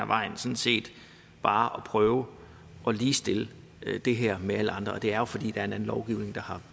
vejen sådan set bare at prøve at ligestille det her med alle andre sager og det er jo fordi det er en anden lovgivning der